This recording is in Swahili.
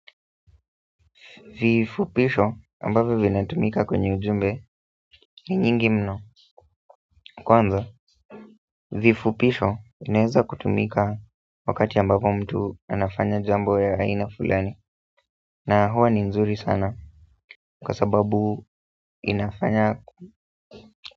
Vifupisho ambavyo vinatumika kwenye ujumbe ni nyingi mno kwanza, vifupisho vinaeza kutumika wakati ambapo mtu anafanya jambo ya aina fulani na huwa ni nzuri sana kwa sababu inafanya.